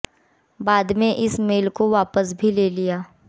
बाद में इस मेल को वापस भी ले लिया गया